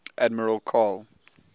admiral karl